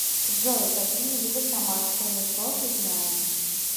джой какие виды самарское метро ты знаешь